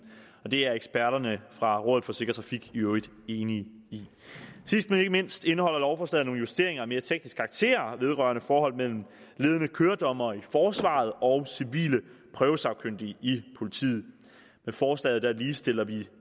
det er eksperterne fra rådet for sikker trafik i øvrigt enige i sidst men ikke mindst indeholder lovforslaget nogle justeringer af mere teknisk karakter vedrørende forholdet mellem ledende køredommere i forsvaret og civile prøvesagkyndige i politiet med forslaget ligestiller vi